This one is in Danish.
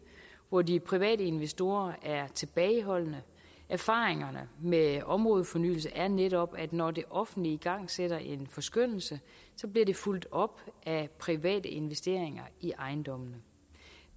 hvor de private investorer er tilbageholdende erfaringerne med områdefornyelse er netop at når det offentlige igangsætter en forskønnelse bliver det fulgt op af private investeringer i ejendommene